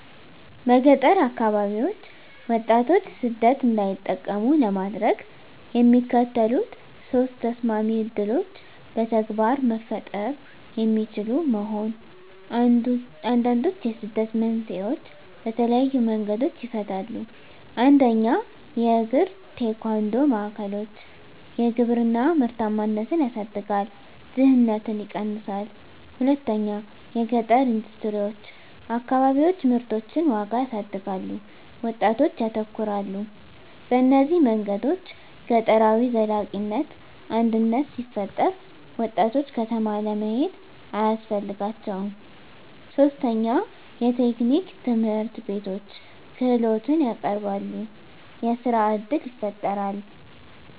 በገጠር አከባቢዎች ወጣቶች ሰደት እንዳይጠቀሙ ለማድረግ፣ የሚከተሉት ሶስት ተሰማሚ ዕድሎች በተግባር መፈጠሩ የሚችሉ መሆን፣ አንዱንድችዉ የስደትን መንስኤዎች በተለየዪ መንገዶች ይፈታል። 1 የእግራ-ቴኳንዶ ማዕከሎች _የግብርና ምርታማነትን ያሳድጋል፣ ድህነትን ይቀነሳል። 2 የገጠረ ኢንደስትሪዎች_ አከባቢዎች ምርቶችን ዋጋ ያሳድጋሉ፣ ወጣቶች ያተኮራሉ። በእነዚህ መንገዶች ገጠራዊ ዘላቂነት አድነት ሲፈጠራ፣ ወጣቶች ከተማ ለመሄድ አያስፈልጋቸውም ; 3 የቴክኒክ ትምህርትቤቶች _ክህሎትን ያቀረበሉ፣ የሥራ እድል ይፈጣራል።